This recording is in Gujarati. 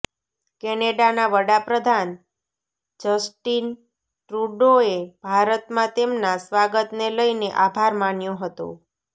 કેનેડાના વડાપ્રધાન જસ્ટિન ટ્રુડોએ ભારતમાં તેમના સ્વાગતને લઈને આભાર માન્યો હતો